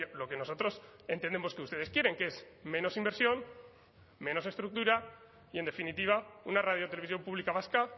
lo que nosotros entendemos que ustedes quieren que es menos inversión menos estructura y en definitiva una radio televisión pública vasca